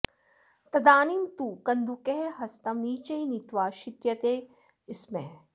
तदानीं तु कन्दुकः हस्तं नीचैः नीत्वा क्षित्यते स्म